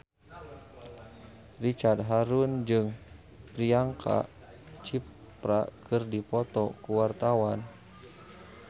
Ricky Harun jeung Priyanka Chopra keur dipoto ku wartawan